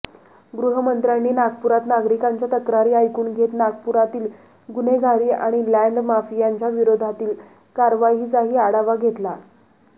गृहमंत्र्यांनी नागपुरात नागरिकांच्या तक्रारी ऐकून घेत नागपुरातील गुन्हेगारी आणि लॅंड माफियांच्या विरोधातील कारवाईचाही आढावा घेतला